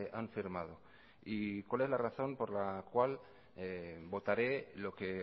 han firmado y cuál es la razón por la cual votaré lo que